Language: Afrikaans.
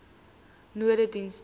nonedienste